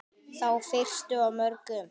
Þá fyrstu af mörgum.